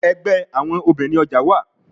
Ẹgbẹ awọn obinrin ọja wa